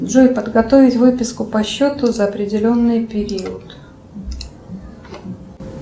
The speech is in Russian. джой подготовить выписку по счету за определенный период